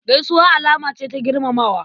Gaisuwa alama ce ta girmamawa.